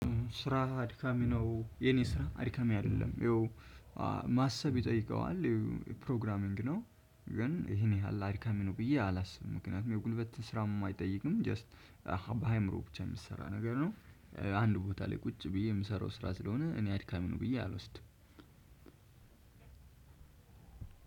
ስራህ አድካሚ ነው? የኔ ስራ አድካሚ አይደለም። ይኸው ማሰብ ይጠይቀዋል ፕሮግራሚን ነው፤ ግን ይህን ያህል አድካሚ ነው ብዬ አላስብም። ምክንያቱም የጉልበት ስራም አይጠይቅም ጀስት በአእምሮ ብቻ የሚሰራ ነገር ነው። አንድ ቦታ ላይ ቁጭ ብዬ የምሰራው ስራ ስለሆነ እኔ አድካሚ ነው ብዬ አልወስድም።